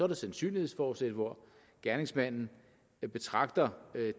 der sandsynlighedsfortsæt hvor gerningsmanden betragter det